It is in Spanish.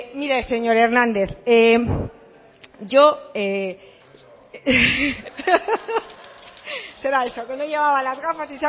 mire señor hernández será eso que no llevaba las gafas